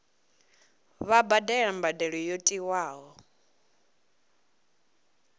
vha badele mbadelo yo tiwaho